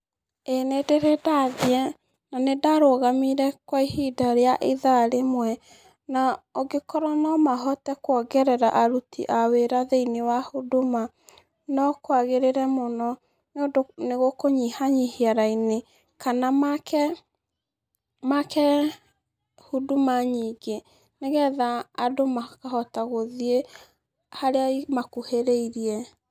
Ĩĩ nĩ ndĩrĩ ndathiĩ. Na nĩ ndarũgamire kwa ihinda rĩa ithaa rĩmwe. Na angĩkorwo no mahote kwongerera aruti aa wĩra thĩ-inĩ wa Huduma, no kwagĩrĩre mũno, nĩ ũndũ nĩ gũkũnyihanyihia raini. Kana maake Huduma nyingĩ nĩ getha andũ makahota gũthiĩ harĩa ĩmakuhĩrĩirie.